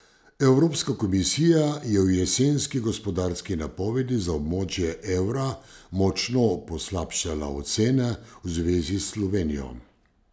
Evropska komisija je v jesenski gospodarski napovedi za območje evra močno poslabšala ocene v zvezi s Slovenijo.